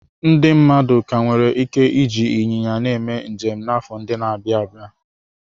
Ndị mmadụ ka nwere ike iji ịnyịnya na-eme njem n'afọ ndị na-abịa.